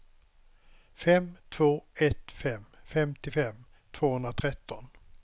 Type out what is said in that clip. fem två ett fem femtiofem tvåhundratretton